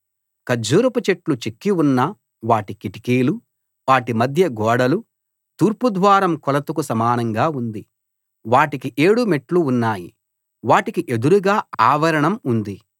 ఖర్జూరపు చెట్లు చెక్కి ఉన్న వాటి కిటికీలు వాటి మధ్యగోడలు తూర్పుద్వారం కొలతకు సమానంగా ఉంది వాటికి ఏడు మెట్లు ఉన్నాయి వాటికి ఎదురుగా ఆవరణ ఉంది